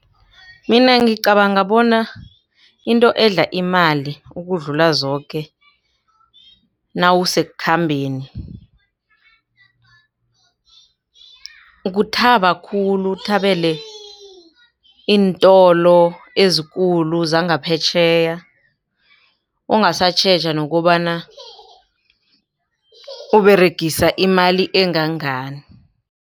Mina ngicabanga bona into edle imali ukudlula zoke, nawusekukhambeni ukuthaba khulu uthabele iintolo ezikulu zangaphetjheya. Ungasatjheja nokobana uberegisa imali engangani.